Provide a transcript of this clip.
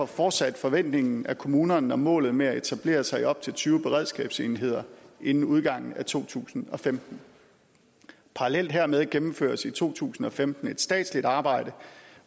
fortsat forventningen at kommunerne når målet med at etablere sig i de op til tyve beredskabsenheder inden udgangen af to tusind og femten parallelt hermed gennemføres i to tusind og femten et statsligt arbejde